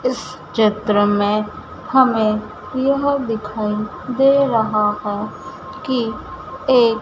इस चित्र में हमें यह दिखाई दे रहा है कि एक--